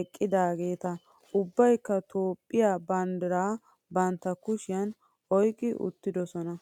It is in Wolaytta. eqqidaageeta. Ubbayikka Toophphiyaa banddira bantta kushiyan oyiqqi uttidosona.